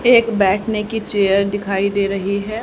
एक बैठने की चेयर दिखाई दे रही है।